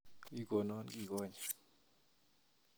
Wii ikonon kie konye